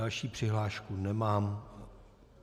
Další přihlášku nemám.